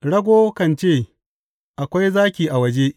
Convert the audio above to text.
Rago kan ce, Akwai zaki a waje!